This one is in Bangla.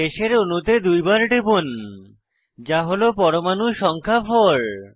শেষের অণুতে দুইবার টিপুন যা হল পরমাণু সংখ্যা 4